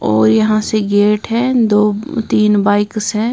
और यहां से गेट है दो तीन बाइक्स हैं।